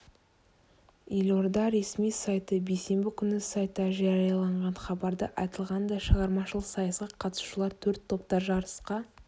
елорда ресми сайты бейсенбі күні сайтта жарияланған хабарда айтылғандай шығармашылық сайысқа қатысушылар төрт топта жарысқа